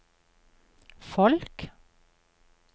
folk